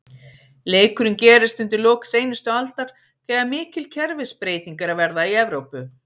Leikurinn gerist undir lok seinustu aldar, þegar mikil kerfisbreyting er að verða í Evrópu.